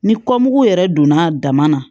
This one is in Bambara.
Ni kɔmugu yɛrɛ donna dama na